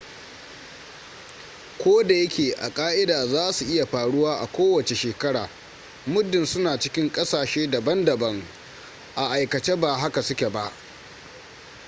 ko da yake a ka'ida za su iya faruwa a kowace shekara muddin suna cikin ƙasashe daban-daban a aikace ba haka suke ba